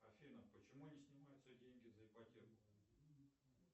афина почему не снимаются деньги за ипотеку